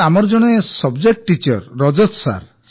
ଜୀ ଆମର ଜଣେ subject teacher Rajat sir